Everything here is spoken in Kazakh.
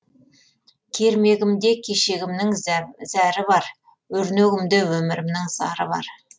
кермегімде кешегімнің зәрі бар өрнегімде өмірімнің зары бар